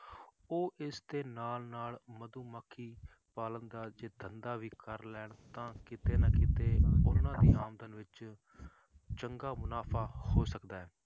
ਉਹ ਇਸਦੇ ਨਾਲ ਨਾਲ ਮਧੂਮੱਖੀ ਪਾਲਣ ਦਾ ਵੀ ਜੇ ਧੰਦਾ ਵੀ ਕਰ ਲੈਣ ਤਾਂ ਕਿਤੇ ਨਾ ਕਿਤੇ ਉਹਨਾਂ ਦੀ ਆਮਦਨ ਵਿੱਚ ਚੰਗਾ ਮੁਨਾਫ਼ਾ ਹੋ ਸਕਦਾ ਹੈ